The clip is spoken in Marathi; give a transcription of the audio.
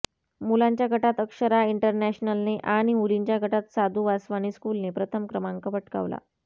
मुलांच्या गटात अक्षरा इंटरनॅशनलने आणि मुलींच्या गटात साधू वासवानी स्कूलने प्रथम क्रमांक पटकावला